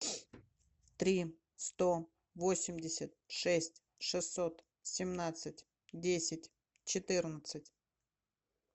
три сто восемьдесят шесть шестьсот семнадцать десять четырнадцать